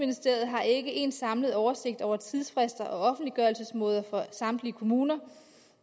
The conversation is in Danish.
har ikke en samlet oversigt over tidsfrister og offentliggørelsesmåder for samtlige kommuner